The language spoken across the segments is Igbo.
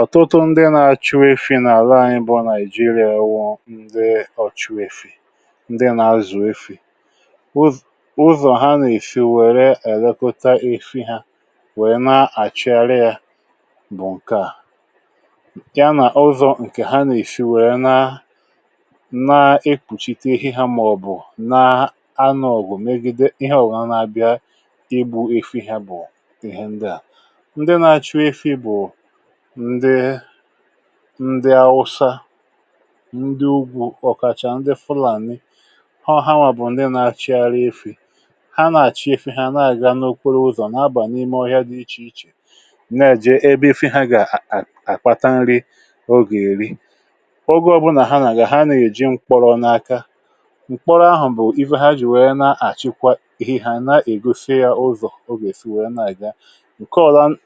Ọ̀tụtụ ndị na-azụ efi n’ala anyị bụ ndị na-eji àgwụ̀ ndị ọ̀chụ̀ efi. Ndị na-azụ̀ efi, ụz ụzọ ha na-eji efi weere elekọta efi ha, bụ ịchị àra, ya bụ̀, nke ahụ na-abụ ụzọ ha na-eji efi wee na-ekpuchite ihe ha, ma ọ bụ na-anọ ògù megide ihe ọ̀wụ̀nà bịara ịkwụsị ma ọ bụ igbu efi ha. Ndị a bụ ndị ndị na-achụ efi, bụ ndị Awụsa na ndị ụgbọ́, ọ̀kà chà, ndị Fulani, hóọ̀ hanwa. Ndị a na-azụ efi, na-acha ife ha, na-achị efi ha, na-aga n’okwéré ụzọ, na-abanye n’ime ọhịa dị iche iche. Ha na-ajị ebe efi ha ga-akpata nri oge eri. Oge ọbụla ha na-aga, ha na-eji mkpọrọ n’aka. Mkpọrọ ahụ bụ iwe ha ji wèrè na-achịkwa ihe ha, na-egosi ya ụzọ, oge si, wee na-aga. Nke a na-arụ ọrụ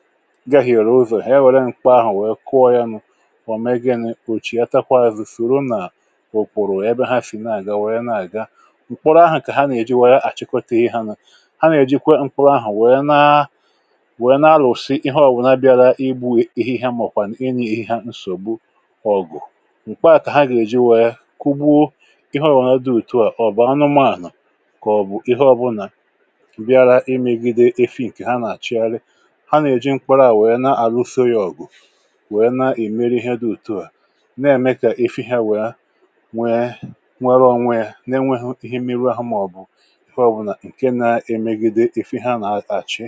dịka “ọ̀lan,” megide ihe ọ bụla na-apụta n’azụ, soro n’ùkwùrù ya, bụ ha fị na-aga. Mkpọrọ ahụ ka ha na-eji were chịkwata ihe ahụ, na iji kwe mkpọrọ ahụ wee rụpụta ihe ọ̀wụ̀nà bịara igbu ihie, ihe, maọ̀kwa inye ihe nsọgbu ọ̀gụ̀. Mkpọrọ a ka ha ga-eji kugbuo ihe ọ̀wụ̀nà ma ọ bụ anụ ọhịa, ma ọ bụ ihe ọbụla bịara imegide efi ha. Nke a bụ ụzọ ha si ewere mkpụrọ wee arufo ya ọgụ, wee na-eme ka efi ha nwee onwe ha, n’enweghị ihe mmiri ahụ, maọ̀bụ ihe na-emegide efi ha. Ha na-achị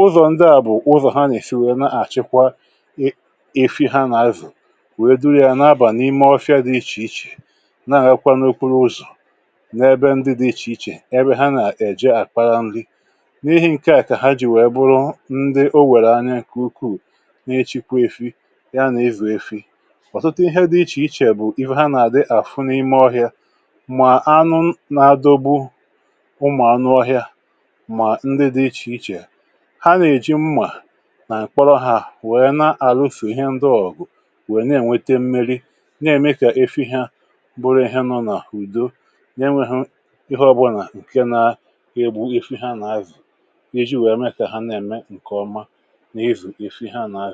ụzọ ndị a, bụ ụzọ ha na-eji efi wee na-achịkwa, na-azụ, wee duru ya, na-abanye n’ime ọhịa dị iche iche. Ha na-akwàdakwa ụkpụrụ ruru n’ebe dị iche iche, ebe ha na-eje akpara nri. N’ihi nke a ka ha ji were bụrụ ndị e ji n’aka n’ịzụ efi. Ọtụtụ ihe dị iche iche bụ ihe ha na-ahụ n’ime ọhịa, dịka anụ na-adọgbu ụmụ anụ ọhịa ma ọ bụ ndị dị iche iche ha na-eji mma na-akpọrọ ha, wee na-alụfè ihe ndị ọ̀gụ̀, wee na-enweta mmiri. Nke a na-eme ka efi ha bụrụ ihe nọ n’udo, na-enweghị ihe ọbụla nke na-egbu efi ha na-azụ, iji mee ka ha na-eme nke ọma.